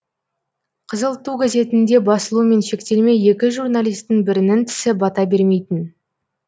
қызыл ту газетінде басылумен шектелмей екі журналистің бірінің тісі бата бермейтін